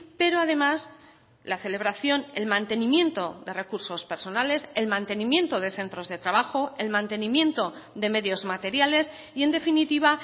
pero además la celebración el mantenimiento de recursos personales el mantenimiento de centros de trabajo el mantenimiento de medios materiales y en definitiva